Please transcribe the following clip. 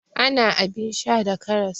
Ana abin sha da karas.